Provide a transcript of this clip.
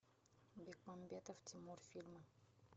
бекмамбетов тимур фильмы